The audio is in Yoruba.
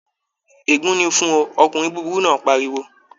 Ègún ni fún ọ, ọkùnrin búburú náà pariwo!